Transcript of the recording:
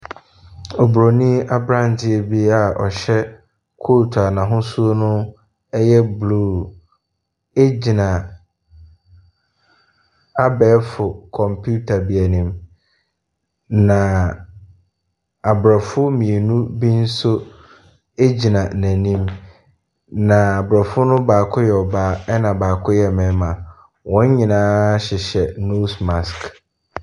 Oburoni aberanteɛ bi a ɔhyɛ coat a n'ahosuo no yɛ blue gyina abɛɛfo kɔmputa bi anim, na aborɔfo mmienu bi nso gyina n'anim, na aborɔfo no mu baako yɛ ɔbaa, ɛnna ɔbaako yɛ ɔbarima. Wɔn nyinaa hyehyɛ nose mask.